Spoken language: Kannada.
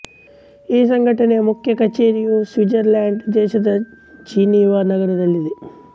ಈ ಸಂಘಟನೆಯ ಮುಖ್ಯ ಕಚೇರಿಯು ಸ್ವಿಟ್ಜರ್ಲ್ಯಾಂಡ್ ದೇಶದ ಜಿನೀವಾ ನಗರದಲ್ಲಿದೆ